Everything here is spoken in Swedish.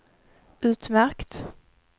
utmärkt